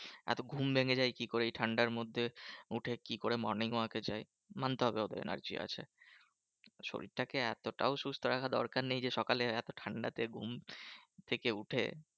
এত ঘুম ভেঙ্গে যায় কি করে এই ঠান্ডার মধ্যে? ওঠে কি করে morning walk এ যায়? মানতে হবে ওদের energy আছে। শরীর টাকে এতটাও সুস্থ রাখার দরকার নেই যে, সকালে এত ঠান্ডাতে ঘুম থেকে উঠে